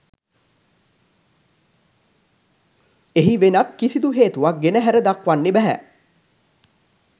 එහි වෙනත් කිසිදු හේතුවක් ගෙන හැර දක්වන්න බැහැ